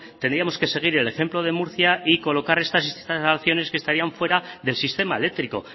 tendríamos que seguir el ejemplo de murcia y colocar estas instalaciones que estarían fuera del sistema eléctrico